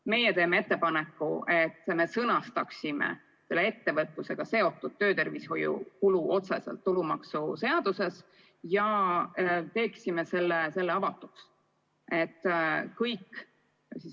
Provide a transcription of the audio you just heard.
Meie teeme ettepaneku, et sõnastaksime ettevõtlusega seotud töötervishoiu kulu otseselt tulumaksuseaduses ja teeksime selle avatuks.